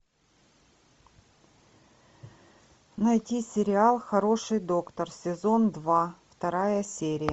найти сериал хороший доктор сезон два вторая серия